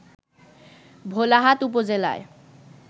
ভোলাহাট উপজেলায়